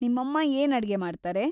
ನಿಮ್ಮಮ್ಮ ಏನ್ ಅಡ್ಗೆ ಮಾಡ್ತಾರೆ?